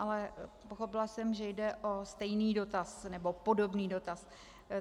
Ale pochopila jsem, že jde o stejný dotaz, nebo podobný dotaz.